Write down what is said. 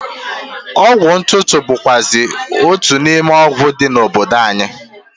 Ọgwụ ntụtụ bụkwụazị otu n'ime ọgwụ dị n'obodo anyị.